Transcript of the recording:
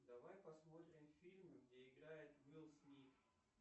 давай посмотрим фильмы где играет уилл смит